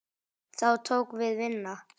Þá tók við vinna.